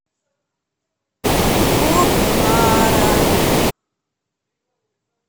покхара